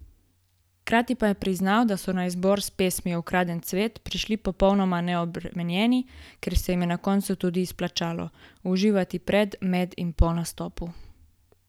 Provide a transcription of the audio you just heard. Hkrati pa je priznal, da so na izbor s pesmijo Ukraden cvet prišli popolnoma neobremenjeni, kar se jim je na koncu tudi izplačalo: "Uživati pred, med in po nastopu!